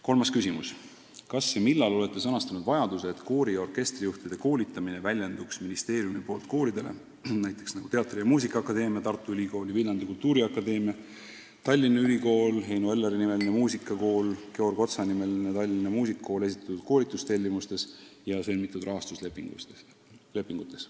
Kolmas küsimus: "Kas ja millal olete sõnastanud vajaduse, et koori- ja orkestrijuhtide koolitamine väljenduks ministeeriumi poolt kooridele esitatud koolitustellimustes ja sõlmitud rahastuslepingutes?